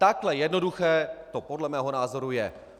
Takhle jednoduché to podle mého názoru je.